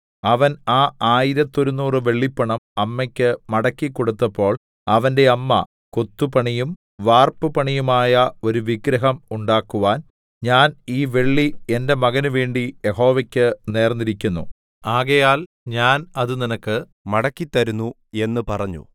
അവൻ ആ ആയിരത്തൊരുനൂറു വെള്ളിപ്പണം അമ്മക്ക് മടക്കിക്കൊടുത്തപ്പോൾ അവന്റെ അമ്മ കൊത്തുപണിയും വാർപ്പുപണിയുമായ ഒരു വിഗ്രഹം ഉണ്ടാക്കുവാൻ ഞാൻ ഈ വെള്ളി എന്റെ മകന് വേണ്ടി യഹോവയ്ക്ക് നേർന്നിരിക്കുന്നു ആകയാൽ ഞാൻ അത് നിനക്ക് മടക്കിത്തരുന്നു എന്ന് പറഞ്ഞു